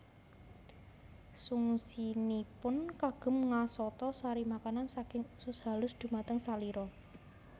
Fungsinipun kagem ngasata sari makanan saking usus halus dumateng salira